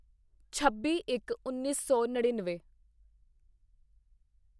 ਛੱਬੀਇੱਕਉੱਨੀ ਸੌ ਨੜੀਨਵੇਂ